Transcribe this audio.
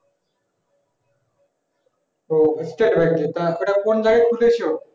ওহ state bank এর তারপর কোন জায়গাতে খুলেছো